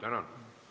Tänan!